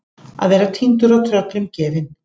Að vera týndur og tröllum gefin